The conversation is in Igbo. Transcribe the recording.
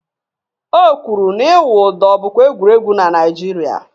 O kwụrụ na-ịwụ ụdọ bụkwa egwuregwu na Naịjirịa